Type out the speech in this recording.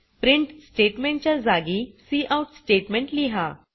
printf statement च्या जागी cout statement लिहा